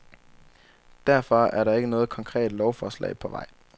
Derfor er der ikke noget konkret lovforslag på vej.